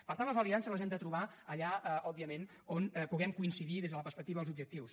per tant les aliances les hem de trobar allà òbviament on puguem coincidir des de la perspectiva dels objectius